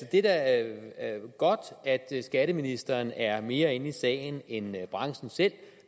det er da godt at skatteministeren er mere inde i sagen end branchen selv